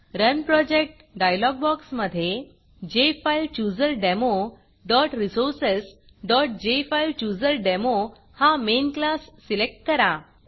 run Projectरन project dialogue बॉक्समधे jfilechooserdemoresourcesजेफाईलचूझरडेमो हा मेन क्लास सिलेक्ट करा